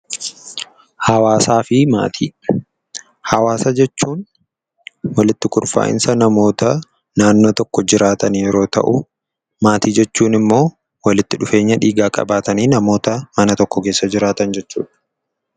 Hawaasa jechuun walitti kurfaa'insa namoota naannoo tokko jiraatan yeroo ta'u, maatii jechuun ammoo walitti dhufeenya dhiigaa qabaatanii namoota mana tokko keessa jiraatan jechuudha.